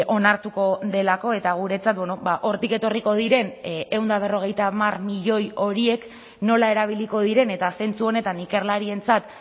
onartuko delako eta guretzat hortik etorriko diren ehun eta berrogeita hamar milioi horiek nola erabiliko diren eta zentzu honetan ikerlarientzat